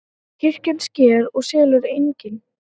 Kirkjan sker og selur eignir